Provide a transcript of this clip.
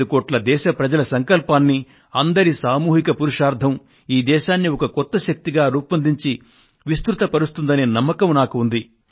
125 కోట్ల దేశ ప్రజల సంకల్పాన్ని అందరి సామూహిక పురుషార్థం ఈ దేశాన్ని ఒక కొత్త శక్తిగా రూపొందించి విస్తృతపరుస్తుందనే నమ్మకం నాకు ఉంది